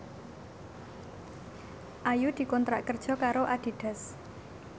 Ayu dikontrak kerja karo Adidas